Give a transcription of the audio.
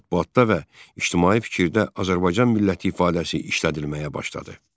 Mətbuatda və ictimai fikirdə Azərbaycan milləti ifadəsi işlədilməyə başladı.